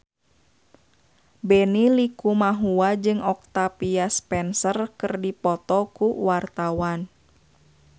Benny Likumahua jeung Octavia Spencer keur dipoto ku wartawan